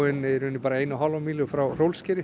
um eina og hálfa mílu frá